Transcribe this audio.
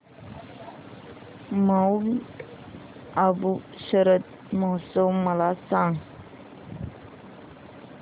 Mount Abu शरद महोत्सव मला सांग